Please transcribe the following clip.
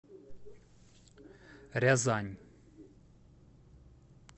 рязань